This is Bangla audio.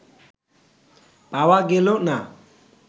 পাওয়া গেল না